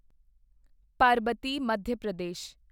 ਪਰਬਤੀ Madhya Pradesh